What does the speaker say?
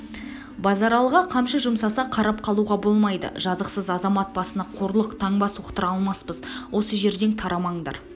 базаралыға қамшы жұмсаса қарап қалуға болмайды жазықсыз азамат басына қорлық таңба соқтыра алмаспыз осы жерден тарамаңдар